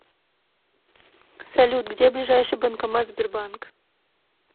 салют где ближайший банкомат сбербанк